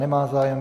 Nemá zájem.